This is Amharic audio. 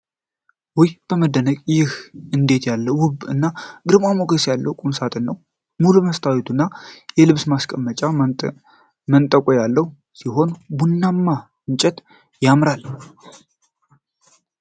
ውይ! በመደነቅ! ይህ እንዴት ያለ ውብ እና ግርማ ሞገስ ያለው ቁምሳጥን ነው! ሙሉ መስታወትና የልብስ መስቀያ መንጠቆ ያለው ሲሆን ቡናማው እንጨት ያምራል።